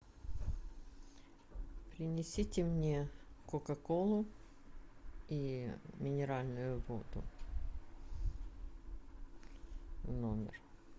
принесите мне кока колу и минеральную воду в номер